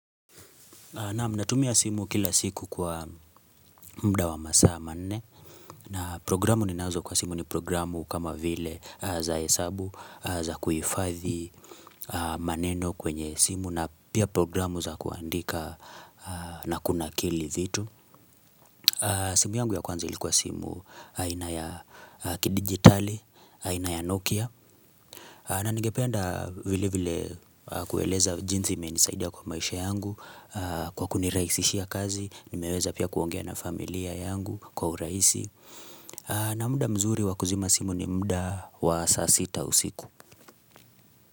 Naam natumia simu kila siku kwa muda wa masaa manne na programu ni nazo kwa simu ni programu kama vile za hesabu za kuifadhi maneno kwenye simu na pia programu za kuandika na kuna kili vitu. Simu yangu ya kwanza ilikuwa simu aina ya kidigitali, aina ya Nokia na ningependa vile vile kueleza jinsi imenisaidia kwa maisha yangu Kwa kunirahisishia kazi, nimeweza pia kuongea na familia yangu kwa urahisi na muda mzuri wakuzima simu ni muda wa saa sita usiku.